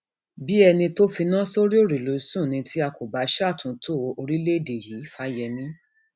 bíi ẹni um tó finá sórí òrùlé sùn ni tí a kò bá ṣàtúntò um orílẹèdè yìífàyémi